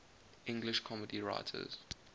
english comedy writers